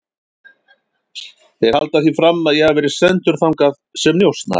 Þeir halda því fram að ég hafi verið sendur þangað sem njósnari